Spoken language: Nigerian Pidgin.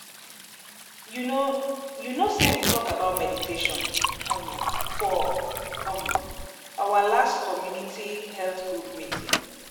you know you know sey we talk about meditation um for um our last community um health group meeting.